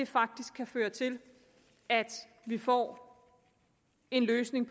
faktisk kan føre til at vi får en løsning